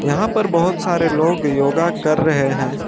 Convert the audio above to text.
यहां पर बहुत सारे लोग योगा कर रहे हैं।